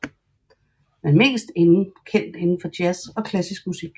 Mest kendt inden for jazz og klassisk musik